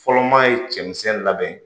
Fɔlɔ maa ye cɛmisɛn labɛn